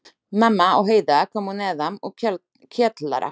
Mamma og Heiða komu neðan úr kjallara.